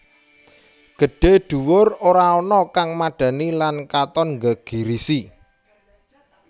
Gedhé dhuwur ora ana kang madhani lan katon nggegirisi